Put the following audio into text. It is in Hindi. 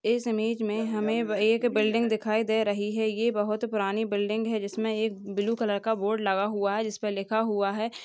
इस इमेज मे हमे व एक बिल्डिंग दिखाई दे रही है ये बहुत पुरानी बिल्डिंग है जिसमे एक ब्लू कलर का बोर्ड लगा हुआ है जिसपे लिखा हुआ है।